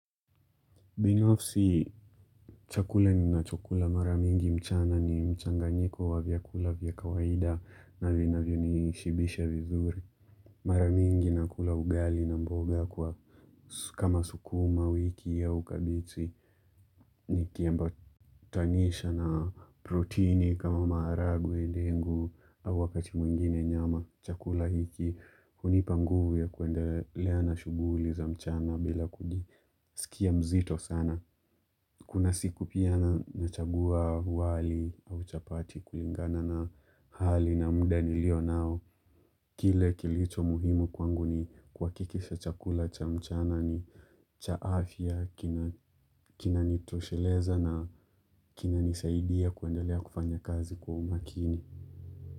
Pia ofisi, chakula ninachokula mara mingi mchana ni mchanganyiko wa vyakula vyaka kawaida na vinavyo ni shibisha vizuri. Mara mingi nakula ugali na mboga kwa kama sukuma wiki au kabeji. Nikiambatanisha na proteini kama maharagwe ndengu au wakati mwingine nyama chakula hiki. Hunipa nguvu ya kuendelea na shughuli za mchana bila kujisikia mzito sana. Kuna siku pia nachagua wali au chapati kulingana na hali na muda nilio nao. Kile kilicho muhimu kwangu ni kuhakikisha chakula cha mchana ni cha afya, kinanitosheleza na kinanisaidia kuendelea kufanya kazi kwa umakini.